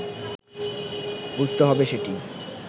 বুঝতে হবে সেটি